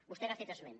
vostè n’ha fet esment